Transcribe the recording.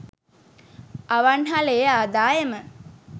අවන්හලේ ආදායම